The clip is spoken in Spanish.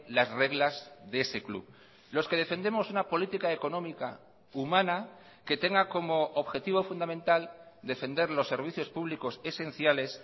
las reglas de ese club los que defendemos una política económica humana que tenga como objetivo fundamental defender los servicios públicos esenciales